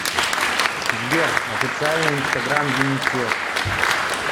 сбер официальный инстаграм юнисеф